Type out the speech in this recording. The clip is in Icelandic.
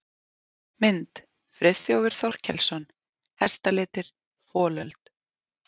Mynd: Friðþjófur Þorkelsson: Hestalitir- folöld.